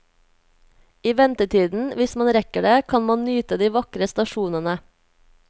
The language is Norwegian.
I ventetiden, hvis man rekker det, kan man nyte de vakre stasjonene.